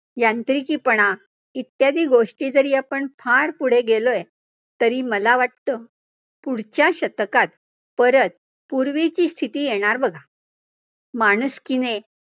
यांत्रिकीपणा इत्यादी गोष्टी जरी आपण फार पुढे गेलोय, तरी मला वाटतं पुढच्या शतकात परत पूर्वीची स्थिति येणार बघा. माणुसकीने